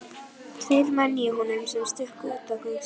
Tveir menn í honum sem stukku út á gangstéttina.